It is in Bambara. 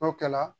N'o kɛla